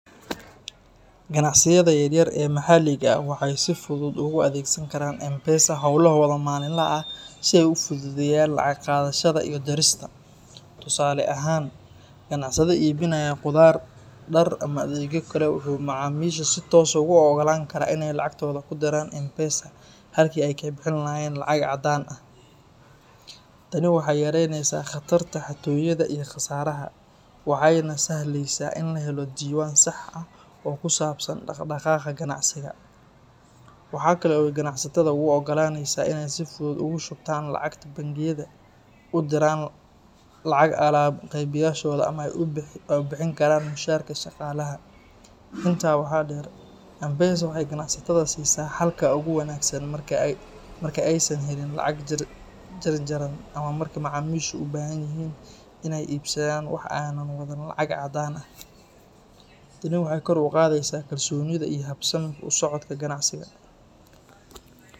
Ganacsiyada yaryar ee maxalliga ah waxay si fudud ugu adeegsan karaan M-Pesa hawlahooda maalinlaha ah si ay u fududeeyaan lacag qaadashada iyo dirista. Tusaale ahaan, ganacsade iibinaya khudaar, dhar ama adeegyo kale wuxuu macaamiisha si toos ah ugu oggolaan karaa inay lacagtooda ku diraan M-Pesa halkii ay ka bixin lahaayeen lacag caddaan ah. Tani waxay yaraynaysaa khatarta xatooyada iyo khasaaraha, waxayna sahlaysaa in la helo diiwaan sax ah oo ku saabsan dhaqdhaqaaqa ganacsiga. Waxa kale oo ay ganacsatada u oggolaanaysaa inay si fudud ugu shubtaan lacagta bangiyada, u diraan lacag alaab-qeybiyeyaasha ama ay u bixin karaan mushaharka shaqaalaha. Intaa waxaa dheer, M-Pesa waxay ganacsatada siisaa xalka ugu wanaagsan marka aysan helin lacag jarjaran ama marka macaamiishu u baahan yihiin inay iibsadaan wax aanay wadan lacag caddaan ah. Tani waxay kor u qaadaysaa kalsoonida iyo habsami u socodka ganacsiga.